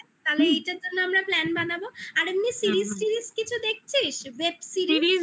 ঠিক আছে তাহলে এটার জন্য আমরা plan বানাবো। আর এমনি series -ফিরিজ কিছু দেখছিস? web series